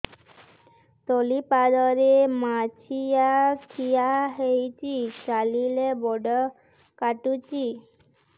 ତଳିପାଦରେ ମାଛିଆ ଖିଆ ହେଇଚି ଚାଲିଲେ ବଡ଼ କାଟୁଚି